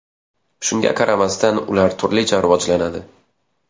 Shunga qaramasdan, ular turlicha rivojlanadi.